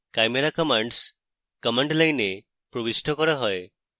chimera commands command line এ প্রবিষ্ট করা হয়